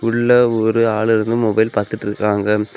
உள்ள ஒரு ஆளு இருந்து மொபைல் பாத்துட்டுருக்காங்க.